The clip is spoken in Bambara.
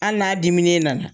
Hali n'a diminen nana